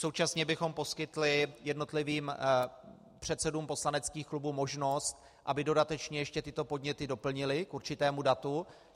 Současně bychom poskytli jednotlivým předsedům poslaneckých klubů možnost, aby dodatečně ještě tyto podněty doplnili k určitému datu.